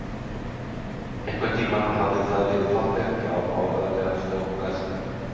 Einhvern tímann hafði það verið fallegt, já, áreiðanlega stórglæsilegt.